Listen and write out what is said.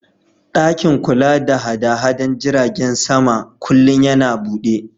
Ɗakin kula da haɗada jiragen sama kullin yana buɗe